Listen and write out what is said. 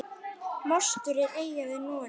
Mostur er eyja við Noreg.